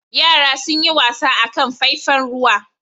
Yara sun yi wasa a kan faifan ruwa.